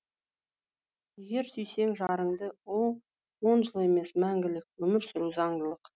егер сүйсең жарыңды он жыл емес мәңгілік өмір сүру заңдылық